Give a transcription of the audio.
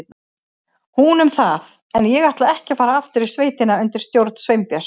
Hún um það, en ég ætlaði ekki að fara aftur í sveitina undir stjórn Sveinbjörns.